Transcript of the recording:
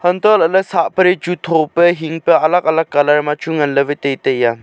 antoh lah ley sak pale chu tho pa hing pe alag alag colour ma chu ngan ley wai chu taitai a.